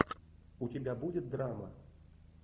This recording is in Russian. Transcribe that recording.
у тебя будет драма